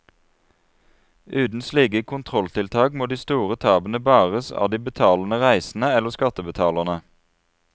Uten slike kontrolltiltak må de store tapene bæres av de betalende reisende eller skattebetalerne.